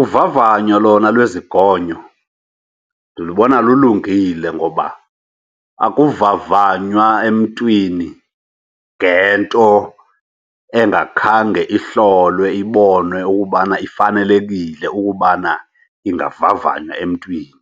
Uvavanyo lona lwezingonyo ndilubona lulungile ngoba akuvavanywa emntwini ngento engakhange ihlolwe iboniwe ukubana ifanelekile ukubana ingavavanywa emntwini.